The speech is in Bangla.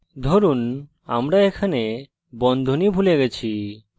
ধরুন আমরা এখানে বন্ধনী ভুলে গেছি